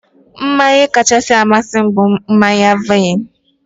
Mmanya kachasị amasị m bụ mmanya vaịn.